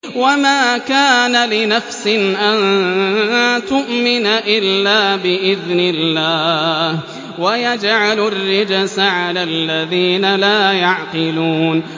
وَمَا كَانَ لِنَفْسٍ أَن تُؤْمِنَ إِلَّا بِإِذْنِ اللَّهِ ۚ وَيَجْعَلُ الرِّجْسَ عَلَى الَّذِينَ لَا يَعْقِلُونَ